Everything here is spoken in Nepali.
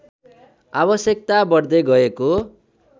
आवश्यकता बढ्दै गएको